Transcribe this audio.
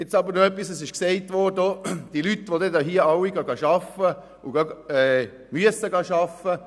Es wurde gesagt, die Leute würden dann alle arbeiten, und das müssten sie auch.